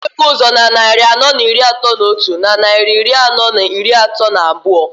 Kedu nke bụ ụzọ na nnarị anọọ n'iri atọọ n'otu, na nnarị iri anọọ n'iri atọọ n'abụọ?